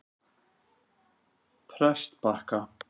Prestbakka